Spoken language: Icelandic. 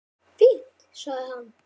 Fínt- sagði hann.